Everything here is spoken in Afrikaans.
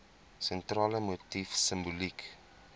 sentrale motief simboliek